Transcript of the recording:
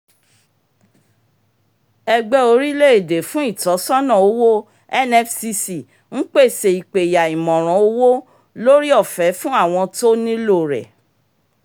ẹgbẹ́ orílẹ̀-èdè fún ìtọ́sọ́nà owó nfcc ń pèsè ìpẹ̀yà ìmọ̀ràn owó lórí ọfẹ̀ fún àwọn tó nílò rẹ̀